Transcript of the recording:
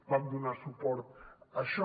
vam donar suport a això